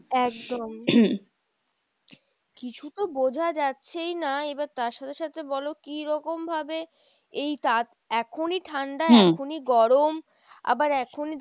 একদম , কিছু তো বোঝা যাচ্ছেই না এবার তার সাথে সাথে বলো কিরকম ভাবে এই এখনই ঠান্ডা এখনই গরম, আবার এখনই,